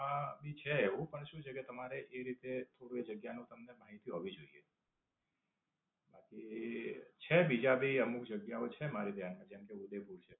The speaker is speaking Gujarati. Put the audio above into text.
હા, એ ભી છે એવું પણ શું છે કે, તમારે એ રીતે થોડું જગ્યા નું તમને માહિતી હોવી જોઈએ. આથી, છે બીજા ભી અમુક જગ્યાઓ છે મારી ધ્યાન માં. જેમકે, ઉદયપુર છે.